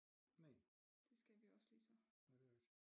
Næ det skal vi også ligesom